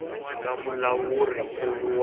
nga na mulawuri nkulu wa